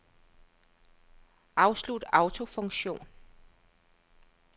Afslut autofunktion.